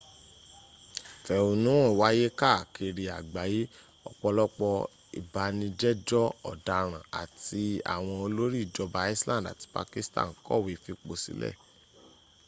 ìfẹ̀hónúhàn wáyé káàkiri àgbáyé ọ̀pọ̀lọpọ̀ ìbánijẹ́jọ́ ọ̀daràn áti àwọn òlórí ìjọba iceland àti pakistan kọ̀wé fìposílè